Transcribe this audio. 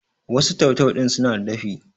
wasu tau-tau ɗin suna da dafi?